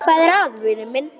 Hvað er að, vinur minn?